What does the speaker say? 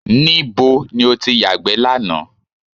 Níbo ni o ti yàgbẹ́ lánàá?